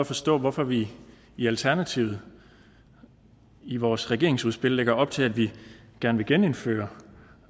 forstå hvorfor vi i alternativet i vores regeringsudspil lægger op til at vi gerne vil genindføre